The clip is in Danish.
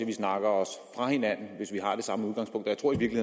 vi snakker os fra hinanden hvis vi har det samme udgangspunkt og jeg tror i